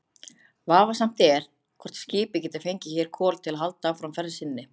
Vafasamt er, hvort skipið getur fengið hér kol til að halda áfram ferð sinni.